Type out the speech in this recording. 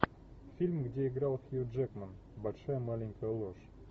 фильм где играл хью джекман большая маленькая ложь